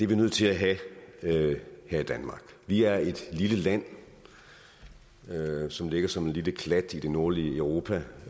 vi nødt til at have her i danmark vi er et lille land som ligger som en lille klat i det nordlige europa